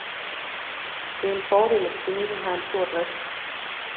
Det er en fordel, at klinikken har en stor drift.